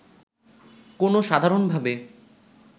কোনও সাধারণভাবে